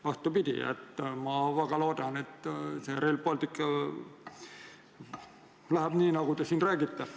Vastupidi, ma väga loodan, et Rail Balticuga läheb nii, nagu te siin räägite.